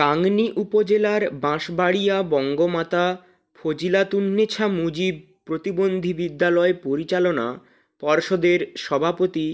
গাংনী উপজেলার বাঁশবাড়িয়া বঙ্গমাতা ফজিলাতুন্নেছা মুজিব প্রতিবন্ধী বিদ্যালয় পরিচালনা পর্ষদের সভাপতি